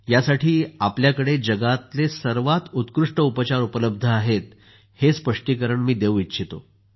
यासाठी आपल्याकडे जगातले सर्वात उत्कृष्ट उपचार उपलब्ध आहेत हे मी स्पष्ट करु इच्छितो